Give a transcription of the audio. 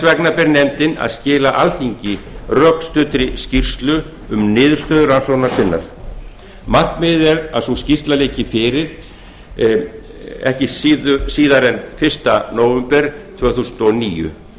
vegna ber nefndinni að skila alþingi rökstuddri skýrslu um niðurstöður rannsóknar sinnar markmiðið er að sú skýrsla liggi fyrir ekki síðar en fyrsta nóvember tvö þúsund og níu